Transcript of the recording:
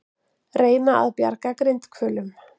Reyna að bjarga grindhvölum